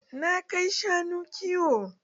Na kai shanu kiwo.